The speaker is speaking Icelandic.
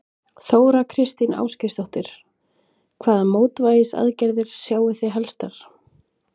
Þóra Kristín Ásgeirsdóttir: Hvaða mótvægisaðgerðir sjáið þið helstar?